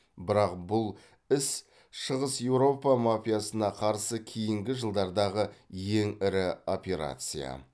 бірақ бұл іс шығыс еуропа мафиясына қарсы кейінгі жылдардағы ең ірі операция